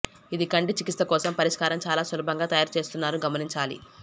ఇది కంటి చికిత్స కోసం పరిష్కారం చాలా సులభంగా తయారు చేస్తున్నారు గమనించాలి